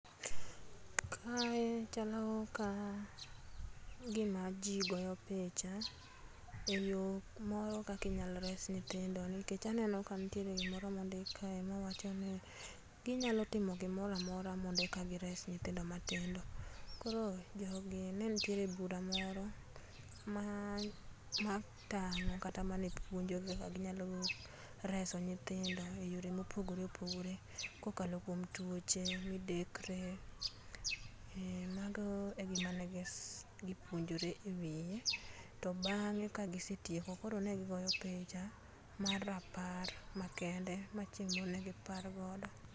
Kae chalo kagima ji goyo picha ee yoo moro kaka inyalo res nyithindo nikech aneno ka nitiere gimoro mondik kae ma wacho ni ginyalo timo girora mora eka gires nyithindo matindo, koro jogi ne ntie bura moro maa matango kata mane puonjo kaka ginyalo reso nyithindo e yore mopogore opogore kokalo kwom tuoche, midekre, mh mago e gik mane gipuonjore e wiye to bang'e kagisetieko koro ne gigoyo picha mar rapar ma kende ma chieng' moro ne gi par godo.